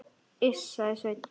Iss, sagði Sveinn.